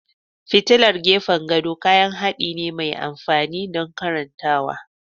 Fitilar gefen gado kayan haɗi ne mai amfani don karantawa.